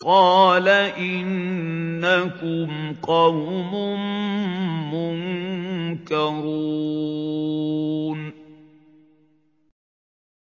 قَالَ إِنَّكُمْ قَوْمٌ مُّنكَرُونَ